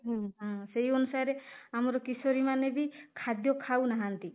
ହୁଁ ହାଁ ସେଇ ଅନୁସାରେ ଆମର କିଶୋରୀ ମାନେ ବି ଖାଦ୍ୟ ଖାଉନାହାନ୍ତି